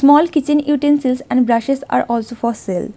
Small kitchen utensils and brushes are also for sale.